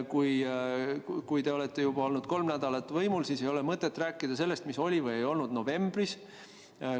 Kui te olete olnud juba kolm nädalat võimul, siis ei ole mõtet rääkida sellest, mis oli või ei olnud novembris.